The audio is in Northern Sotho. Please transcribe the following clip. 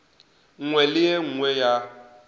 nngwe le e nngwe ya